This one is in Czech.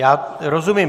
Já rozumím.